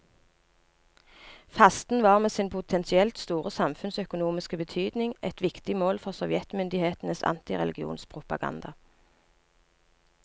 Fasten var med sin potensielt store samfunnsøkonomiske betydning et viktig mål for sovjetmyndighetenes antireligionspropaganda.